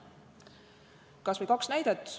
Kas või kaks näidet.